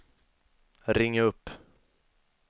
ring upp